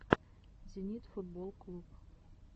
зенит футболл клуб